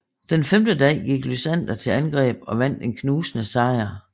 Den femte dag gik Lysander til angreb og vandt en knusende sejr